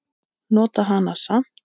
Nota hana samt.